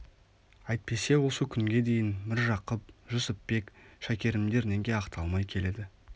әйтпесе осы күнге дейін міржақып жүсіпбек шәкерімдер неге ақталмай келеді